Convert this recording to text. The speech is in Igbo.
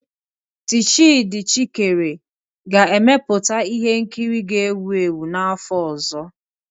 Tchidi Chikere ga-emeputa ihe nkiri ga-ewu ewu n'afọ ọzọ.